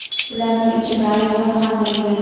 Ularning ichida ayollar ham bo‘lgan.